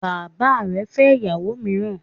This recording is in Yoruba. Bàbá rẹ fẹ́ ìyàwó míràn